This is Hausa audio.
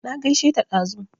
Na gaishe ta dazu